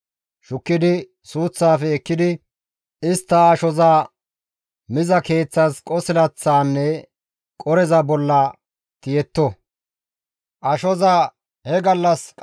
Shukkidi suuththafe ekkidi istta ashoza miza keeththas qosilaththaanne qoreza bolla tiyetto. Isra7eeleti suuth qosilaththa bollanne qore bolla tiyishin